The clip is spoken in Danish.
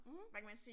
Mh